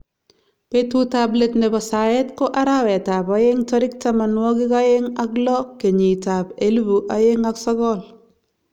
Betut ab let nebo saet ko arawet ab aeng tarik tamanwakik aeng ak lo kenyit ab elibu aeng ak sokol.